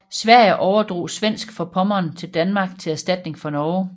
Sverige overdrog Svensk Forpommern til Danmark til erstatning for Norge